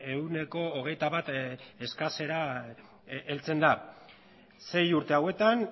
ehuneko hogeita bat eskasera heltzen da sei urte hauetan